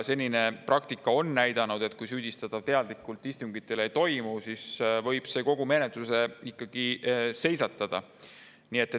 Senine praktika on näidanud, et kuigi süüdistatav teadlikult jätab istungitel, võib see ikkagi kogu menetluse seisata.